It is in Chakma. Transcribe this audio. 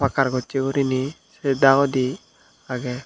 par gocchi guriney si dagodi aagey.